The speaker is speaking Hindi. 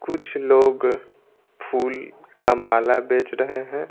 कुछ लोग फूल का माला बेच रहे हैं।